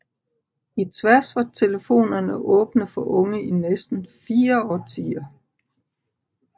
I Tværs var telefonerne åbne for unge i næsten fire årtier